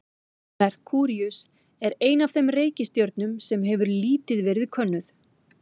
Merkúríus er ein af þeim reikistjörnum sem hefur lítið verið könnuð.